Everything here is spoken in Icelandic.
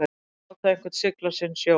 Að láta einhvern sigla sinn sjó